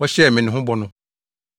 a wohyɛɛ me ne ho bɔ no.